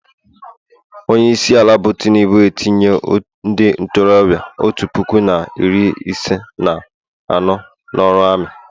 Onye isiala bụ tinubu etinye ndị ntorobịa otu puku na iri ise na anọ n'ọrụ ami